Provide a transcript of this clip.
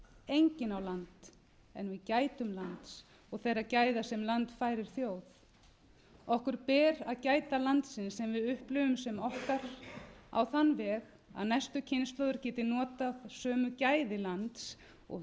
enginn á land en við gætum lands og þeirra gæða sem land færir þjóð okkur ber að gæta landsins sem við upplifum sem okkar á þann veg að næstu kynslóð geti notað sömu gæði lands og